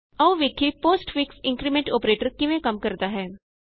ਆਉ ਵੇਖੀਏ postfix increment operator ਕਿਵੇਂ ਕੰਮ ਕਰਦਾ ਹੈ